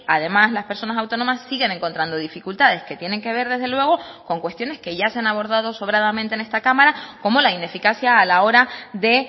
además las personas autónomas siguen encontrando dificultades que tienen que ver desde luego con cuestiones que ya se han abordado sobradamente en esta cámara como la ineficacia a la hora de